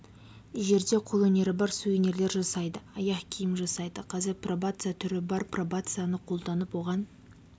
жерде қолөнері бар сувенирлер жасайды аяқ киім жасайды қазір пробация түрі бар пробацияны қолданып оған